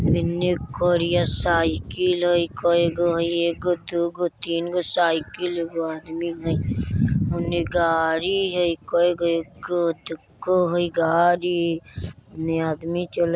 इने करिया साइकिल हय कई गो हय एगो दू गो तीन गो साइकिल एगो आदमी हय उने गाड़ी हय कै गो एगो दू गो हई गाड़ी इने आदमी चले --